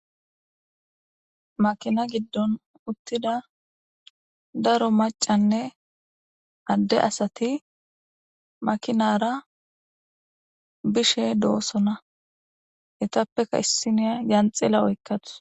Maakina giddon uuttida daro macanne adde asati maakinara bishe doosona eettappekka issiniya yanxila oykkadus.